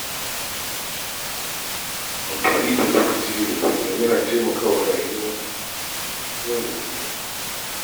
Amfani da lokaci yadda ya dace yana taikawa rayuwar yau da kullum.